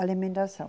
Alimentação.